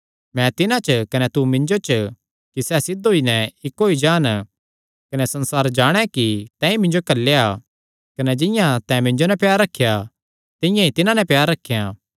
मैं तिन्हां च कने तू मिन्जो च कि सैह़ सिद्ध होई नैं इक्क होई जान कने संसार जाणे कि तैंईं मिन्जो घल्लेया कने जिंआं तैं मिन्जो नैं प्यार रखेया तिंआं ई तिन्हां नैं प्यार रखेया